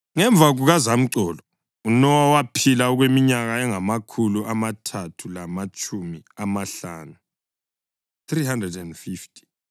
Ngemva kukazamcolo uNowa waphila okweminyaka engamakhulu amathathu lamatshumi amahlanu (350).